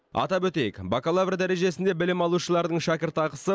атап өтейік бакалавр дәрежесінде білім алушылардың шәкіртақысы